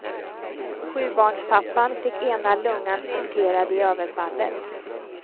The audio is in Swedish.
Sjubarnspappan fick ena lungan punkterad i överfallet.